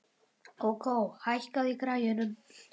Kókó, hækkaðu í græjunum.